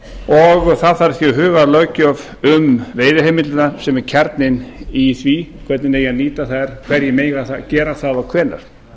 og það þarf því að huga að löggjöf um veiðiheimildirnar sem er kjarninn í því hvernig eigi að nýta þær hverjir megi gera það og hvenær